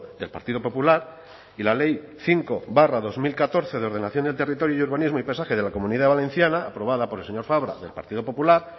del partido popular y la ley cinco barra dos mil catorce de ordenación del territorio y urbanismo y paisaje de la comunidad valenciana aprobada por el señor fabra del partido popular